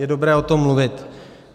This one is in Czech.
Je dobré o tom mluvit.